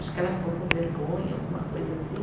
Acho que ela ficou com vergonha, alguma coisa assim.